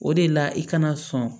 O de la i kana sɔn